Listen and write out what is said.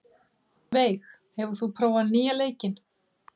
Veig, hefur þú prófað nýja leikinn?